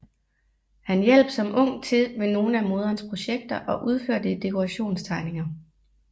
Han hjalp som ung til ved nogle af moderens projekter og udførte dekorationstegninger